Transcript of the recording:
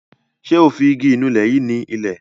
Ṣé o fi igi ìnulẹ̀ yìí ni ilẹ̀.